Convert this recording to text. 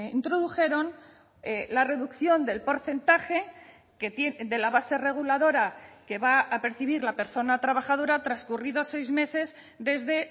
introdujeron la reducción del porcentaje de la base reguladora que va a percibir la persona trabajadora transcurridos seis meses desde